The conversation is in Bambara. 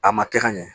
A ma kɛ ka ɲɛ